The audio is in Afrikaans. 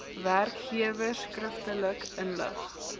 werkgewers skriftelik inlig